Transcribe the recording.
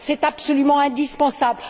C'est absolument indispensable.